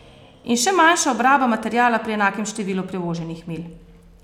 In še manjša obraba materiala pri enakem številu prevoženih milj.